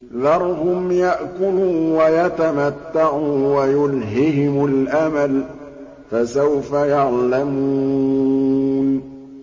ذَرْهُمْ يَأْكُلُوا وَيَتَمَتَّعُوا وَيُلْهِهِمُ الْأَمَلُ ۖ فَسَوْفَ يَعْلَمُونَ